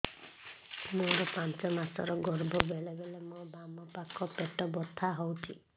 ମୋର ପାଞ୍ଚ ମାସ ର ଗର୍ଭ ବେଳେ ବେଳେ ମୋ ବାମ ପାଖ ପେଟ ବଥା ହଉଛି